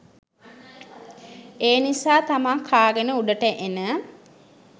ඒ නිසා තමා කාගෙන උඩට එන